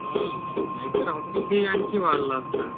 हं नाहीतर हॉकी खेळ आणखी वाढला असता.